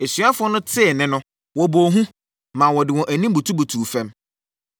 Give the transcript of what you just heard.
Asuafoɔ no tee nne no, wɔbɔɔ hu, maa wɔde wɔn anim butubutuu fam.